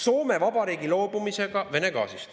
Soome Vabariigi loobumisega Vene gaasist.